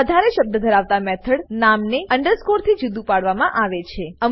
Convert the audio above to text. વધારે શબ્દ ધરાવતા મેથોડ નામને અંડરસ્કોર થી જુદું પાડવામાં આવે છે